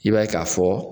I b'a ye k'a fɔ